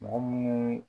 Mɔgɔ munnu